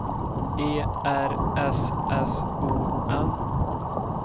E R S S O N